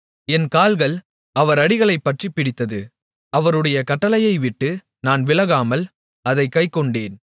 என் கால்கள் அவர் அடிகளைப் பற்றிப்பிடித்தது அவருடைய கட்டளையை விட்டு நான் விலகாமல் அதைக் கைக்கொண்டேன்